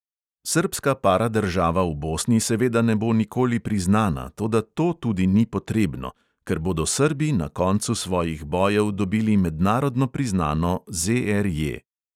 Srbska paradržava v bosni seveda ne bo nikoli priznana, toda to tudi ni potrebno, ker bodo srbi na koncu svojih bojev dobili mednarodno priznano ZRJ.